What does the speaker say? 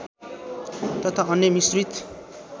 तथा अन्य मिश्रित